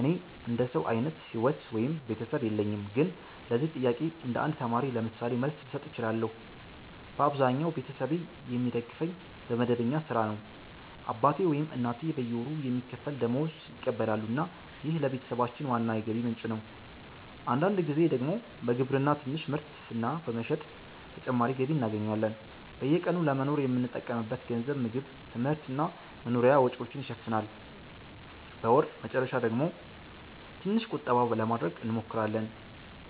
እኔ እንደ ሰው አይነት ሕይወት ወይም ቤተሰብ የለኝም፣ ግን ለዚህ ጥያቄ እንደ ተማሪ ምሳሌ መልስ ልሰጥ እችላለሁ። በአብዛኛው ቤተሰቤ የሚደግፈኝ በመደበኛ ሥራ ነው። አባቴ ወይም እናቴ በየወሩ የሚከፈል ደመወዝ ይቀበላሉ እና ይህ ለቤተሰባችን ዋና የገቢ ምንጭ ነው። አንዳንድ ጊዜ ደግሞ በግብርና ትንሽ ምርት እና በመሸጥ ተጨማሪ ገቢ እናገኛለን። በየቀኑ ለመኖር የምንጠቀምበት ገንዘብ ምግብ፣ ትምህርት እና መኖሪያ ወጪዎችን ይሸፍናል። በወር መጨረሻ ደግሞ ትንሽ ቁጠባ ለማድረግ እንሞክራለን።